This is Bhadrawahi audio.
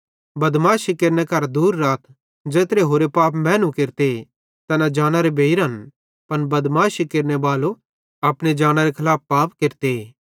बदमाशी केरने करां दूर राथ ज़ेत्रे होरे पाप मैनू केरते तैना जानरे बेइरन पन बदमाशी केरनेबालो अपने जानरे खलाफ पाप केरते